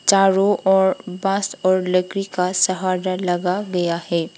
चारों ओर बास लकड़ी का सहारा लगा गया है।